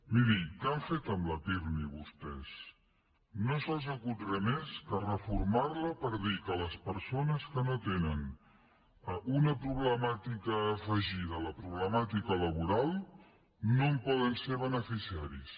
miri què han fet amb la pirmi vostès no se’ls acut res més que reformar la per dir que les persones que no tenen una problemàtica afegida a la problemàtica laboral no en poden ser beneficiaris